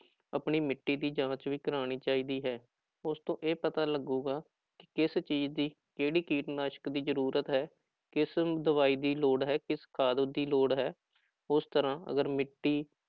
ਆਪਣੀ ਮਿੱਟੀ ਦੀ ਜਾਂਚ ਵੀ ਕਰਵਾਉਣੀ ਚਾਹੀਦੀ ਹੈ ਉਸ ਤੋਂ ਇਹ ਪਤਾ ਲੱਗੇਗਾ ਕਿ ਕਿਸ ਚੀਜ਼ ਦੀ ਕਿਹੜੀ ਕੀਟਨਾਸ਼ਕ ਦੀ ਜ਼ਰੂਰਤ ਹੈ, ਕਿਸ ਦਵਾਈ ਦੀ ਲੋੜ ਹੈ ਕਿਸ ਖਾਦ ਦੀ ਲੋੜ ਹੈ, ਉਸ ਤਰ੍ਹਾਂ ਅਗਰ ਮਿੱਟੀ